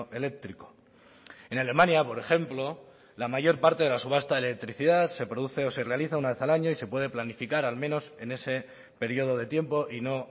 eléctrico en alemania por ejemplo la mayor parte de la subasta de electricidad se produce o se realiza una vez al año y se puede planificar al menos en ese periodo de tiempo y no